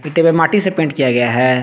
माटी से पेंट किया गया है।